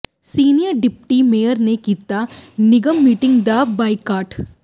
senior deputy mayor ਨੇ ਕੀਤਾ ਨਿਗਮ ਮੀਟਿੰਗ ਦਾ ਬਾਈਕਾਟ